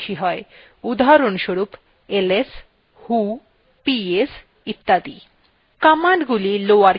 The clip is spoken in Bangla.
খুব কম linux commands দৈর্ঘ্যে চার অক্ষরের চেয়ে বেশি ps উদাহরণস্বরূপ ls who ps ইত্যাদি